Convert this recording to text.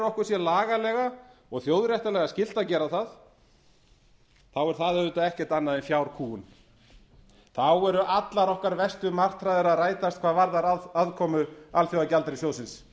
okkur sé lagalega og þjóðréttarlega skylt að gera það er það auðvitað ekkert annað en fjárkúgun þá eru allar okkar verstu martraðir að rætast hvað varðar aðkomu alþjóðagjaldeyrissjóðsins